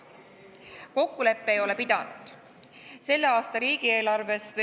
Kokkulepe ei ole pidanud.